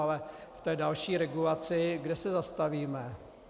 Ale v té další regulaci kde se zastavíme?